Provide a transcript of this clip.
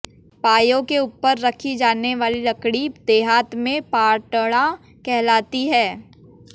पांयों के ऊपर रखी जाने वाली लकड़ी देहात में पाटड़ा कहलाती है